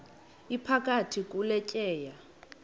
iphakathi kule tyeya